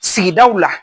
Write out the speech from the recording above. Sigidaw la